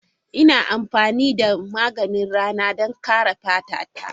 Ina amfani da maganin rana don kare fata ta.